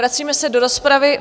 Vracíme se do rozpravy.